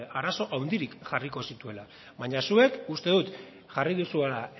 arazo handirik jarriko zituenik baina zuek uste dut jarri duzuela